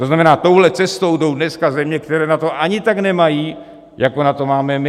To znamená, touhle cestou jdou dneska země, které na to ani tak nemají, jako na to máme my.